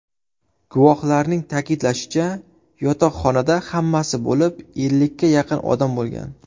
Guvohlarning ta’kidlashicha, yotoqxonada hammasi bo‘lib ellikka yaqin odam bo‘lgan.